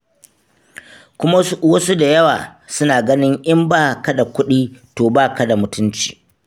Kuma wasu da yawa suna ganin in ba ka da kuɗi to ba ka da mutunci.